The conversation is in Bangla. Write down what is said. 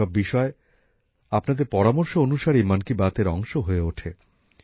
এইসব বিষয় আপনাদের পরামর্শ অনুসারেই মন কি বাত এর অংশ হয়ে ওঠে